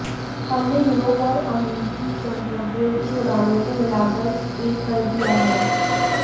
हमने यूरोप और अमेरिकी गंतव्यों की उड़ानों को मिलाकर एक कर दिया है